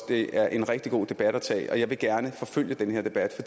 det er en rigtig god debat at tage og jeg vil gerne forfølge den her debat